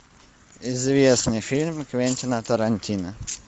известный фильм квентина тарантино